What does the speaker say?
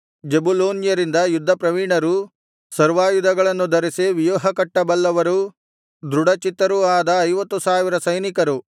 ಜೆಬುಲೂನ್ಯರಿಂದ ಯುದ್ಧಪ್ರವೀಣರೂ ಸರ್ವಾಯುಧಗಳನ್ನು ಧರಿಸಿ ವ್ಯೂಹಕಟ್ಟ ಬಲ್ಲವರೂ ದೃಢಚಿತ್ತರೂ ಆದರು ಐವತ್ತು ಸಾವಿರ ಸೈನಿಕರು